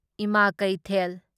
ꯢꯃꯥ ꯀꯩꯊꯦꯜ